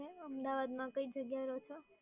અમદાવાદમાં કઈ જગ્યાએ રહો છો?